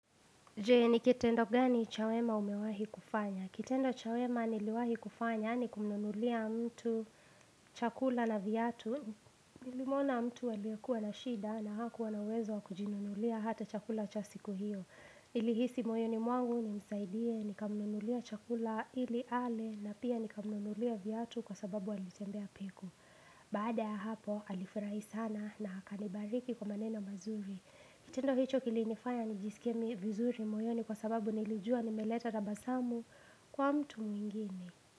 Jee, ni kitendo gani cha wema umewahi kufanya? Kitendo cha wema niliwahi kufanya ni kumnunulia mtu chakula na vyatu. Nilimwona mtu aliyekuwa na shida na hakuwa na uwezo wakujinunulia hata chakula cha siku hiyo. Nilihisi moyoni mwangu nimsaidie, nikamnunulia chakula ili ale na pia nikamnunulia vyatu kwa sababu alitembea piku. Baada ya hapo, alifurahi sana na akanibariki kwa maneno mazuri. Kitendo hicho kilinifanya nijisikie vizuri moyoni kwa sababu nilijua nimeleta tabasamu kwa mtu mwingine.